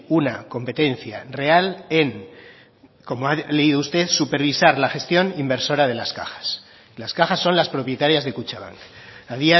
una competencia real en como ha leído usted supervisar la gestión inversora de las cajas las cajas son las propietarias de kutxabank a